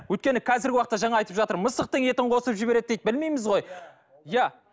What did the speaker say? өйткені қазіргі уақытта жаңа айтып жатыр мысықтың етін қосып жібереді дейді білмейміз ғой иә